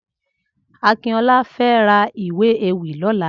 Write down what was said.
Akintola fè rà ìwé éwì lòlà